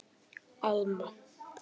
Alma